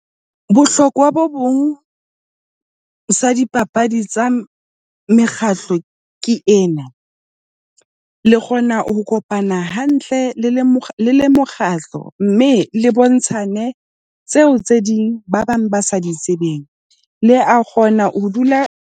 Bohlokwa bo bong sa dipapadi tsa mekgatlo ke ena, le kgona ho kopana hantle le le le mokgatlo, mme le bontshane tseo tse ding ba bang ba sa di tsebeng, le a kgona ho dula .